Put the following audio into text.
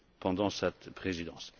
le fut pendant cette Présidence.